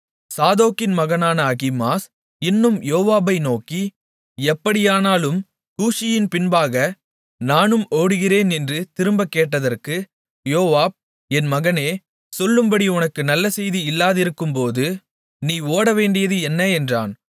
சாதோக்கின் மகனான அகிமாஸ் இன்னும் யோவாபை நோக்கி எப்படியானாலும் கூஷியின் பின்பாக நானும் ஓடுகிறேன் என்று திரும்பக் கேட்டதற்கு யோவாப் என் மகனே சொல்லும்படி உனக்கு நல்ல செய்தி இல்லாதிருக்கும்போது நீ ஓடவேண்டியது என்ன என்றான்